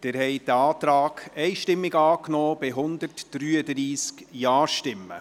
Sie haben den Antrag einstimmig angenommen mit 133 Ja-Stimmen.